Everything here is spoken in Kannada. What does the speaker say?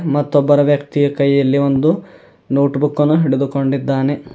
ಮತ್ತೊಬ್ಬರು ವ್ಯಕ್ತಿ ಕೈಯಲ್ಲಿ ಒಂದು ನೋಟ್ ಬುಕ್ ಅನ್ನು ಹಿಡಿದುಕೊಂಡಿದ್ದಾನೆ.